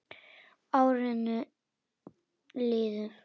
Árin liðu.